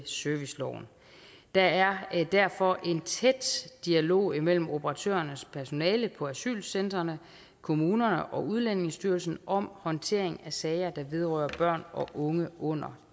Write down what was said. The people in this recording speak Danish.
serviceloven der er derfor en tæt dialog imellem operatørernes personale på asylcentrene kommunerne og udlændingestyrelsen om håndtering af sager der vedrører børn og unge under